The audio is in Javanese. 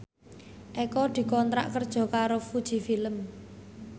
Eko dikontrak kerja karo Fuji Film